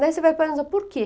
Daí você vai pensar, por quê?